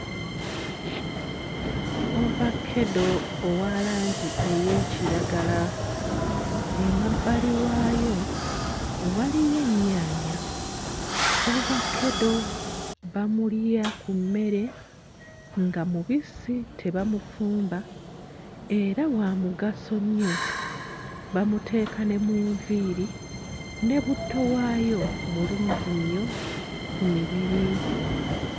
Ovakeddo owa langi ey'ekiragala, emabbali waayo waliyo ennyaanya. Ovakedde bamulya ku mmere nga mubisi tebamufumba era wa mugaso nnyo, bamuteeka ne mu nviiri ne butto waayo mulungi nnyo ku mibiri.